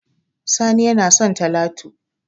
Sani yana so talatu